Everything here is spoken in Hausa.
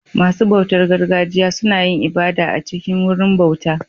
Masu bautar gargajiya suna yin ibada a cikin Wurin bauta